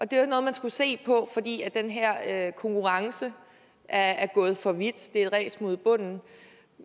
det var noget man skulle se på fordi den her konkurrence er er gået for vidt det er et ræs mod bunden